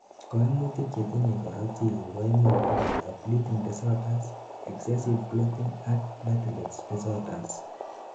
koimutik chetinyei korotikguk koimuch koboto bleeding disorders, excessive clotting ak platelets disorders